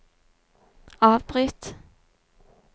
avbryt